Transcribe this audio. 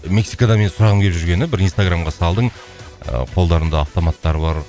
мексикада менің сұрағым келіп жүргені бір инстаграмға салдың ыыы қолдарында автоматтары бар